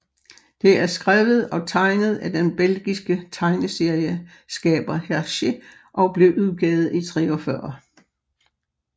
Det er skrevet og tegnet af den belgiske tegneserieskaber Hergé og blev udgivet i 1943